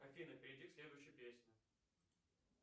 афина перейди к следующей песне